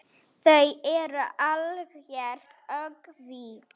Þú ert algert öngvit!